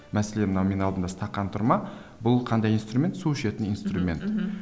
мәселе мына менің алдымда стақан тұр ма бұл қандай инструмент су ішетін инструмент мхм